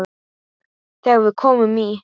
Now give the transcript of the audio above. Þegar við komum í